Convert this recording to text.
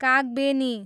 Kagbeni